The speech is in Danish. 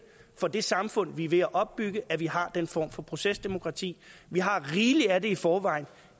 for det samfund vi er ved at opbygge at vi har den form for procesdemokrati vi har rigeligt af det i forvejen